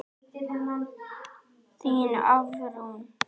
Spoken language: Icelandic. Þín Hafrún.